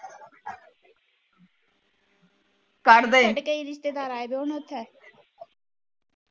ਸਾਡੇ ਕਈ ਰਿਸ਼ਤੇਦਾਰ ਆਏ ਦੇ ਹੁਣ ਉੱਥੇ